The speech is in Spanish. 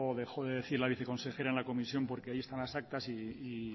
dejó de decir la viceconsejera en la comisión porque ahí están las actas y